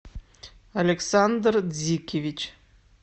александр дзикевич